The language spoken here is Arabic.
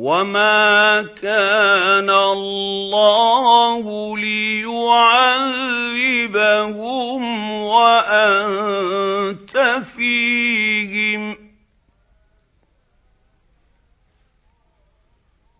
وَمَا كَانَ اللَّهُ لِيُعَذِّبَهُمْ وَأَنتَ فِيهِمْ ۚ